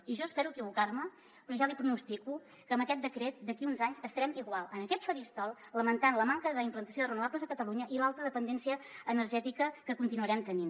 i jo espero equivocar me però ja li pronostico que amb aquest decret d’aquí a uns anys estarem igual en aquest faristol lamentant la manca d’implantació de renovables a catalunya i l’alta dependència energètica que continuarem tenint